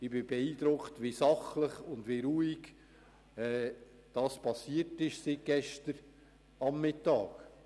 Ich bin beeindruckt, wie sachlich und ruhig diese abgelaufen ist.